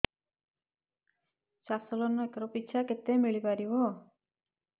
ଚାଷ loan acre ପିଛା କେତେ ମିଳି ପାରିବ